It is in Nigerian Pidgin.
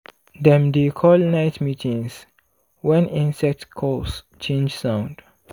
dem dey call night meetings when insect calls change sound.